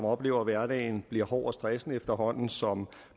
oplever at hverdagen bliver hård og stressende efterhånden som